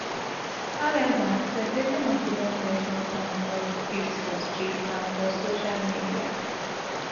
however separation of di lovebirds don turn hot gist for street and for social media